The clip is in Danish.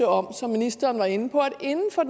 om som ministeren var inde på